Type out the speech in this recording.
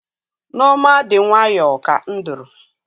Nneoma dị nwayọọ ka nduru.